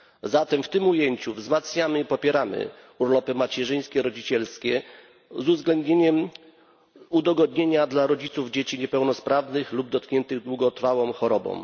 Zatem w tym ujęciu wzmacniamy i popieramy urlopy macierzyńskie i rodzicielskie, z uwzględnieniem udogodnienia dla rodziców dzieci niepełnosprawnych lub dotkniętych długotrwałą chorobą.